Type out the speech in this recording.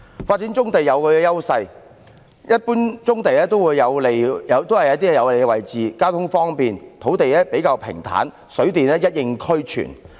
發展棕地有其優勢，一般棕地均處於有利位置，交通方便，土地較平坦，水電一應俱全。